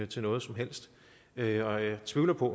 til noget som helst og jeg tvivler på